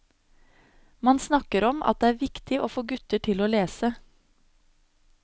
Man snakker om at det er viktig å få gutter til å lese.